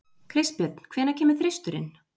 Kristbjörn, hvenær kemur þristurinn?